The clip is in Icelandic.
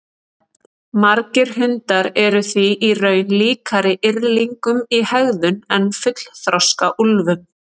Margir hundar eru því í raun líkari yrðlingum í hegðun en fullþroska úlfum.